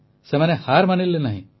ସେମାନେ ହାର୍ ମାନିଲେ ନାହିଁ